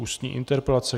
Ústní interpelace